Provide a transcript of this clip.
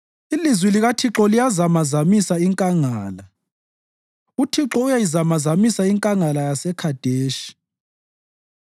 Ilizwi likaThixo liyayizamazamisa inkangala; uThixo uyayizamazamisa iNkangala yaseKhadeshi.